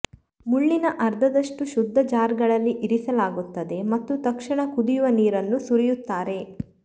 ಮುಳ್ಳಿನ ಅರ್ಧದಷ್ಟು ಶುದ್ಧ ಜಾರ್ಗಳಲ್ಲಿ ಇರಿಸಲಾಗುತ್ತದೆ ಮತ್ತು ತಕ್ಷಣ ಕುದಿಯುವ ನೀರನ್ನು ಸುರಿಯುತ್ತಾರೆ